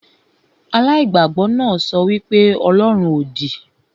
Aláìgbàgbọ náà sọ wí pé ọlọ́run òdì